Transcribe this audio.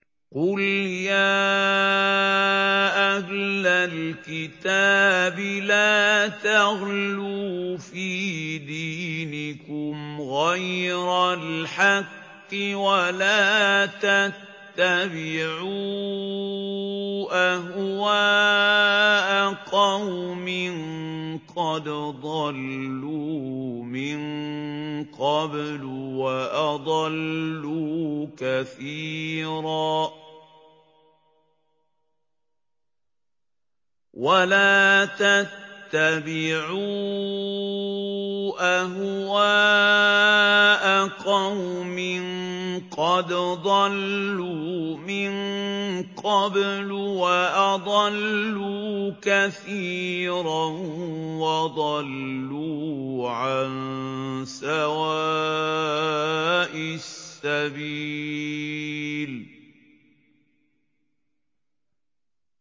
قُلْ يَا أَهْلَ الْكِتَابِ لَا تَغْلُوا فِي دِينِكُمْ غَيْرَ الْحَقِّ وَلَا تَتَّبِعُوا أَهْوَاءَ قَوْمٍ قَدْ ضَلُّوا مِن قَبْلُ وَأَضَلُّوا كَثِيرًا وَضَلُّوا عَن سَوَاءِ السَّبِيلِ